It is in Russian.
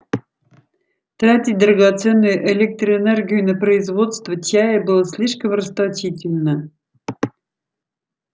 тратить драгоценную электроэнергию на производство чая было слишком расточительно